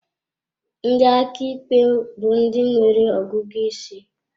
Ndị aka ikpe bụ ndị nwere ọgụgụ isi.